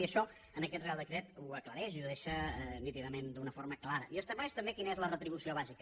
i això en aquest reial decret ho aclareix i ho deixa nítidament d’una forma clara i estableix també quina és la retribució bàsica